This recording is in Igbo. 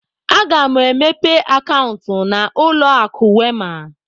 Aga mụ emepe akauntu na ụlọ akụ Wema.